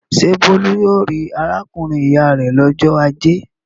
Ṣé Bólú yóò rí arákùnrin-ìyá rẹ̀ lọ́jọ́ ajé?